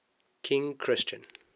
king christian